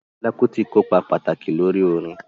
Fẹla Kuti ko ipa pataki lori orin.